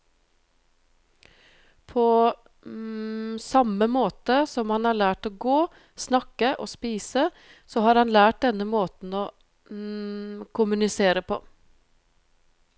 På samme måte som han har lært å gå, snakke og spise, så har han lært denne måten å kommunisere på.